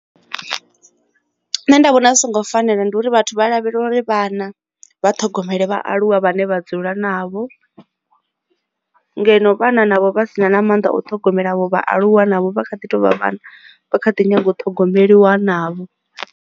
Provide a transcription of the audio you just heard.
Nṋe ndi vhona zwi songo fanela ndi uri vhathu vha lavhelela uri vhana vha ṱhogomele vhaaluwa vhane vha dzula navho ngeno vhana navho vha sina na maanḓa o ṱhogomela avho vhaaluwa navho vha kha ḓi tovha vhana vha kha ḓi nyaga u thogomeliwa navho.